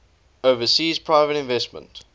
overseas private investment